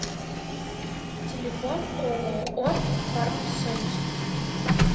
телефон ооо фармсоюз